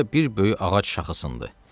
Guya bir böyük ağac şaxası idi.